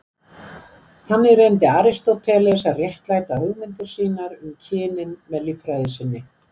Þannig reyndi Aristóteles að réttlæta hugmyndir sínar um kynin með líffræði sinni.